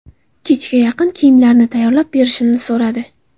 Kechga yaqin kiyimlarini tayyorlab berishimni so‘radi.